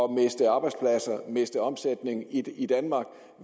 miste arbejdspladser miste omsætning i i danmark